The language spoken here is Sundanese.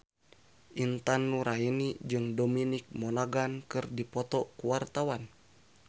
Intan Nuraini jeung Dominic Monaghan keur dipoto ku wartawan